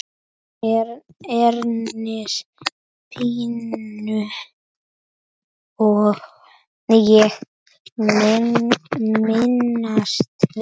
Herrans pínu ég minnast vil.